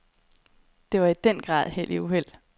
Det var i den grad held i uheld.